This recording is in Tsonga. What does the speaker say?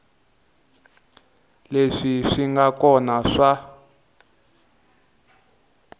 leswi swi nga kona swa